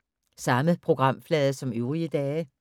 Samme programflade som øvrige dage